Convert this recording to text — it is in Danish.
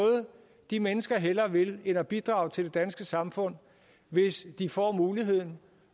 de mennesker hellere vil end at bidrage til det danske samfund hvis de får muligheden